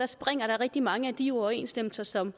springer der rigtig mange af de uoverensstemmelser som